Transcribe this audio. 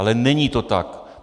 Ale není to tak.